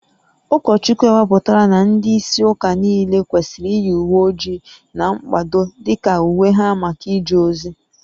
Ụkọchukwu ekwupụtala na ndị isi ụka niile kwesịrị iyi uwe ojii na mkpado dị ka uwe ha maka ije ozi